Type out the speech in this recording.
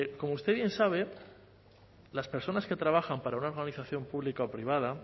como usted bien sabe las personas que trabajan para una organización armonización pública o privada